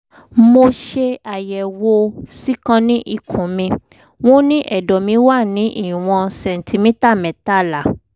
mo ṣe àyẹ̀wò síkáànì ikùn mi wọ́n ní ẹ̀dọ̀ mí wà ní ìwọ̀n sẹ̀ǹtímítà mẹ́tàlá